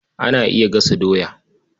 Ana iya gasa doya.